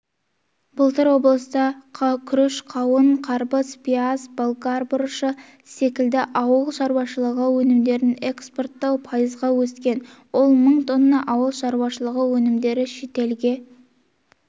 былтыр облыста күріш қауын-қарбыз пияз болгар бұрышы секілді ауыл шаруашылығы өнімдерін экспорттау пайызға өскен ол мың тонна ауыл шаруашылығы өнімдері шетелге